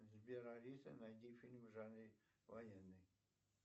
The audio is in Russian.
сбер алиса найди фильм в жанре военный